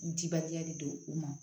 N tibaliya de don u ma